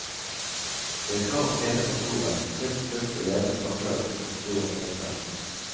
Vi har krav om pene kontorer, frisk frukt og levende fakler utenfor kontorene om vinteren.